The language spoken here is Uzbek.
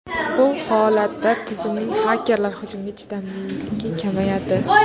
Bu holatda tizimning xakerlar hujumiga chidamliligi kamayadi.